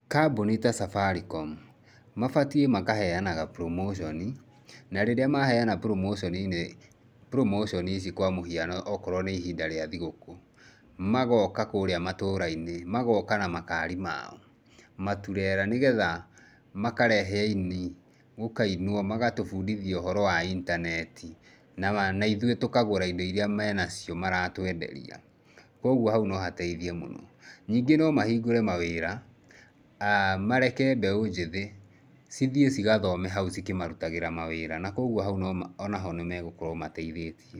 Kambuni ta Safaricom mabatiĩ makaheanaga promotion, na rĩrĩa maheana promotion nĩ, promotion ici kwa mũhiano okorwo n ĩ ihinda rĩa thũkũ, magooka kũria matũra-inĩ, magooka na makari mao, maturera, nĩgetha makarehe aini, gũkainwo, magatũbundithia ũhoro wa intaneti na ithuĩ tũkagũra indo iria menacio maratwenderia. Kwoguo hau no hateithie mũno. Ningĩ no mahingũre mawĩra, mareke mbeũ njĩthĩ cithiĩ cigathome hau cikĩmarutagĩra wĩra na kwoguo hau o na ho nĩ magũkorwo mateithĩtie.